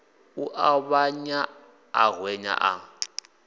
u ṱavhanya a hwenya a